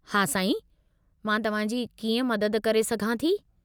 हा, साईं, मां तव्हां जी कीअं मदद करे सघां थी?